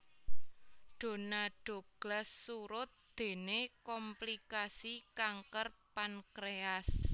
Donna Douglas surut déné komplikasi kanker pankréas